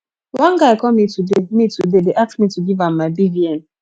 one guy call me today me today dey ask me to give am my bvn